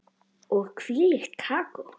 Og hvílíkt kakó.